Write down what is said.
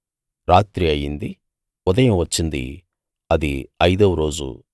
రాత్రి అయింది ఉదయం వచ్చిందిఐదో రోజు